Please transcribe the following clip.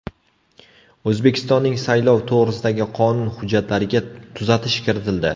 O‘zbekistonning saylov to‘g‘risidagi qonun hujjatlariga tuzatish kiritildi.